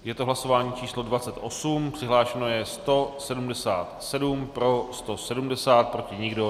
Je to hlasování číslo 28, přihlášeno je 177, pro 170, proti nikdo.